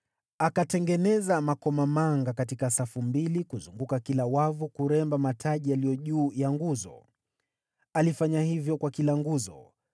Akatengeneza makomamanga katika safu mbili kuzunguka kila wavu kuremba mataji yaliyo juu ya nguzo. Alifanya hivyo kwa kila nguzo.